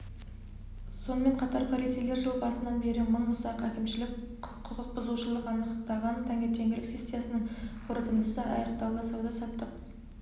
сонымен қатар полицейлер жыл басынан бері мың ұсақ әкімшілік құқықбұзушылық анықтаған таңертеңгілік сессиясының қорытындысы аяқталды сауда-саттық